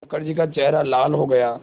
मुखर्जी का चेहरा लाल हो गया